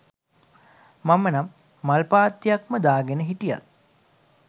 මම නම් මල් පාත්තියක්ම දාගෙන හිටියත්